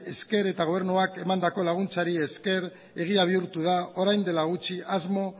esker eta gobernuak emandako laguntzari esker egia bihurtu da orain dela gutxi asmo